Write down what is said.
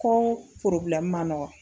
Kɔ ma nɔgɔ.